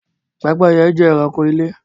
Pẹ́pẹ́yẹ jẹ́ ẹranko ilé